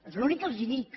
és l’únic que els dic